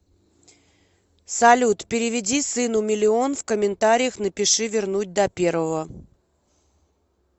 салют переведи сыну миллион в комментариях напиши вернуть до первого